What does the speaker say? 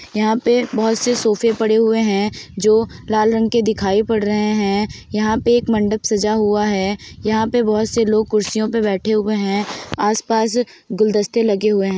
यहाँ पे बोहोत से सोफे पड़े हुए हैं जो लाल रंग के दिखाई पड़ रहे हैं यहाँ पे एक मंडप सजा हुआ है यहाँ पे बोहोत से लोग कुर्सियों पे बैठे हुए हैं आस पास गुलदस्ते लगे हुए हैं ।